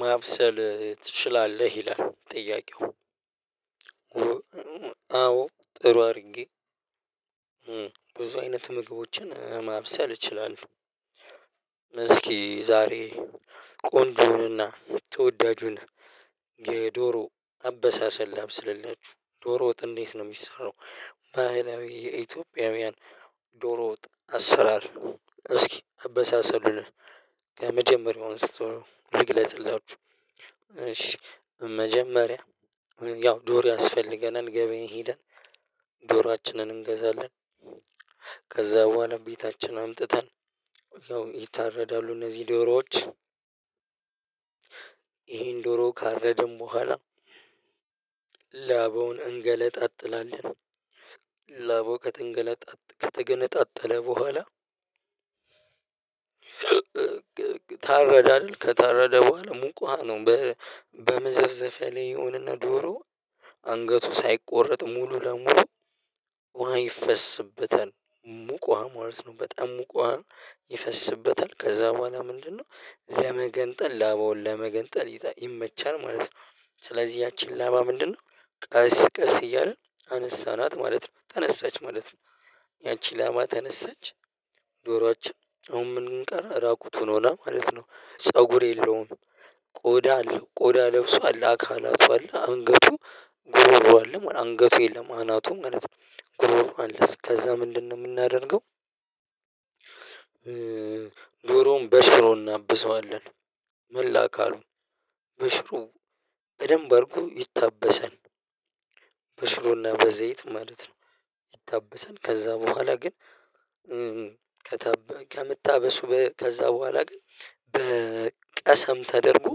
ማብሰል ትችላለህ ይላል ጥያቄው? አዎ ጥሩ አድርጌ ብዙ አይነት ምግቦችን ማብሰል እችላለሁ። እስኪ ዛሬ ቆንጆንና ተወዳጁን የዶሮ አበሳሰል ላብስልላችሁ ዶሮ ወጥ እንዴት ነው የሚሰራው? ባህላዊ የኢትዮጵያውያን ዶሮወጥ አሰራር እስኪ አበሳሰሉን? ከመጀመሪያው አንስቶ ልግለጽላችሁ። እሺ መጀመሪያ ያው ዶር ያስፈልገናል ገበያ ሄደን ዶሯችንን እንገዛለን። ከዛ በኋላ ቤታችን አምጥተን ያው ይታረዳሉ እነዚህ ዶሮዎች። ይሄን ዶሮ ካረደን በኋላ ላባውን እንገለነጣጥላለን። ላባው ከተገነጣጠለ በኋላ። ታረደ አይደል? ከታረደ በኋላ ሙቅ ውሃ ነው። በመዘፍዘፍ ያ ላይ ይሆንና ዶሮ አንገቱ ሳይቆረጥ ሙሉ ለሙሉ ውሃ ይፈስበታል። ሙቅ ውሃ ማለት ነው። በጣም ሙቅ ዉሃ ይፈስበታል ከዛ በኋላ ምንድነው? ለመገንጠል ላባውን ለመገንጠል ይመቻል ማለት ነው። ስለዚህ ያቺን ላባ ምንድነው? ቀስ ቀስ እያለን አነሳናት ማለት ነው። ተነሳች ማለት ነው። ያቺ ላባ ተነሳች። ዶሮአችን አሁን ምኑ ቀረ እራቁቱን ሆነ ማለት ነው ፀጉር የለውም። ቆዳ አለው ቆዳ ለብሷል አካቱ አለ አንገቱ ጉሮሮው አለ አንገቱ የለም አናቱም ማለት ነው ጉሮሮ አለ እስከዛ ምንድነው የምናደርገው? ዶሮዉን በሽሮ እናብሰዋለን። መላ አካሉን በሽሮ በደንብ አድርጎ ይታበሳል። በሽሮና በዘይት ማለት ነው። ይታበሳል ከዛ በኋላ ግን ከምታበሱ ከዛ በኋላ ግን በቀሰም ተደርጎ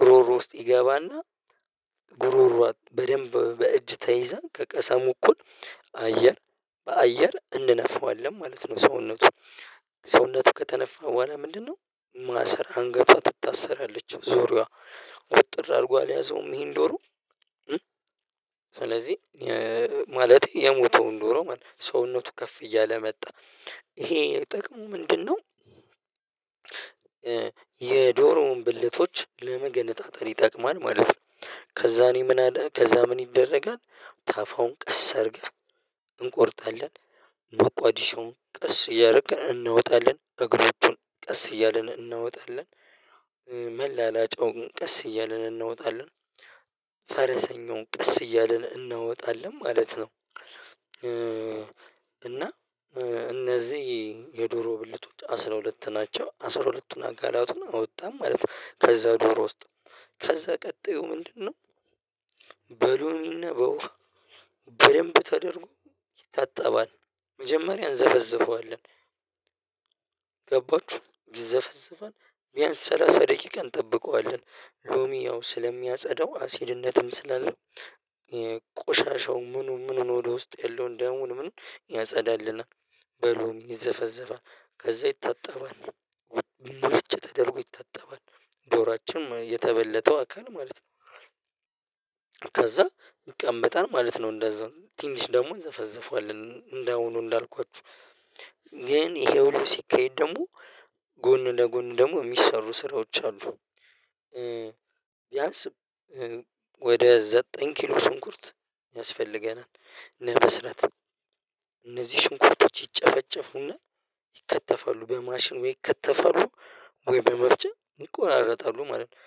ጉሮሮ ውስጥ ይገባና ጉሮሮ በደንብ በእጅ ተይዛ ከቀሰሙ እኩል አየር በአየር እንነፋዋለን ማለት ነው። ሰውነቱን ሰውነቱ ከተነፋ በኋላ ምንድነው? ማሰር አንገቷ ትታሰራለች ዙሪያሪዋ ውጥር አድርጎ አልያዘውም ይሄን ዶሮ። ስለዚህ ማለቴ የሞተውን ዶሮ ማለት ነው ሰውነቱ ከፍ እያለ መጣ ይሄ ጥቅሙ ምንድነው? የዶሮውን ብልቶች ለመገነጣጠል ይጠቅማል ማለት ነው። ከዛኔ ምን ከዛ ምን ይደረጋል? ታፋውን ቀስ አድርገህ እንቆርጣለን። መቋዲሾውን ቀስ እያደረክ እናወጣለን እግሮቹን ቀስ እያለን እናወጣለን። መላላጫውን ቀስ እያልን እናወጣለን። ፈረሰኛውን ቀስ እያልን እናወጣለን ማለት ነው። እና እነዚህ የዶሮ ብልቶች አስራ ሁለት ናቸው አስራ ሁለቱን አካላቱን አወጣን ማለት ነው። ከዛ ዶሮ ውስጥ ከዛ ቀጣዩ ምንድነው? በሎሚ አና በውሃ በደንብ ተደርጎ ይታጠባል። መጀመሪያን እንዘፈዝፈዋለን ገባችሁ ዘፈዘፈን ቢያንስ ሰላሳ ደቂቃ እጠብቀዋለን። ሎሚ ያው ስለሚያጸዳው አሲድነትም ስላለው ቆሻሻው ምኑ ምኑን ወደ ውስጥ ያለውን ደሙን ምኑን ያጸዳልናል። በሎሚ ይዘፈዘፋል ከዛ ይታጠባል። ሙልጭ ተደርጎ ይታጠባል ዶሯችን የተበለተው አካል ማለት ነው። ከዛ ይቀመጣል ማለት ነው። እንደዛው ትንሽ ደግሞ እንዘፈዝፈዋለን እንዳውኑ እንዳልኳችሁ። ግን ይሄ ሁሉ ሲካሄድ ደግሞ ጎን ለጎን ደግሞ የሚሰሩ ስራዎች አሉ። ቢያንስ ወደ ዘጠኝ ኪሎ ሽንኩርት ያስፈልገናል። ለመስራት እነዚህ ሽንኩርቶች ይጨፈጨፉና ይከተፋሉ በማሽን ወይ ይከተፋሉ ወይ በመፍጫ ይቆናረጣሉ ማለት ነው።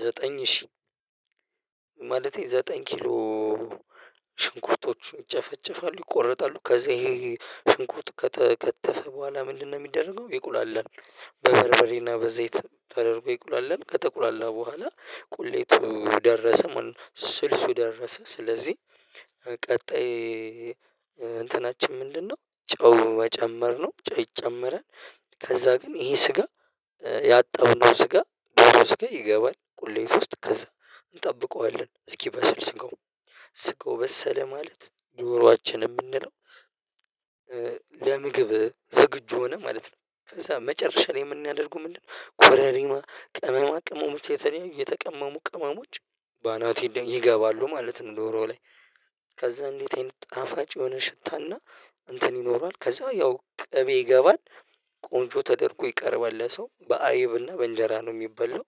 ዘጠኝ ሺህ ማለቴ ዘጠኝ ኪሎ ሽንኩርቶችን ይጨፈጨፋሉ ይቆረጣሉ ከዛ ይሄ ሽንኩርት ከተከተፈ በኋላ ምንድነው የሚደረገው ይቁላላል? በበርበሬና በዘይት ተደርጎ ይቁላላል ከጠቁላላ በኋላ ቁሌቱ ደረሰ። ስልሱ ደረሰ ስለዚህ ቀጣይ እንትናችን ምንድነው ጨው መጨመር ነው ጨው ይጨመራል። ከዛ ግን ይሄ ስጋ ያጠብነው ስጋ ስጋ ይገባል ቁሌት ውስጥ ከዛ እንጠብቀዋለን። እስኪበስል ስጋው ስጋው በሰለ ማለት ዶሮአችን የምንለው። ለምግብ ዝግጁ ሆነ ማለት ነው። ከዛ መጨረሻ ላይ የምናደርገው ምንድነው? ኮረሪማ ቅመማ ቅመሞች የተቀመሙ ቅመሞች በአናቱ ለይ ይገባሉ ማለት ነው። ዶሮው ላይ ከዛ እንዴት አይነት ጣፋጭ የሆነ ሽታና እንትን ይኖረዋል ከዛ ያው ቅቤ ይገባል። ቆንጆ ተደርጎ ይቀርባል ለሰው በአይብና በእንጀራ ነው የሚበላው።